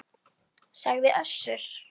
sagði Össur.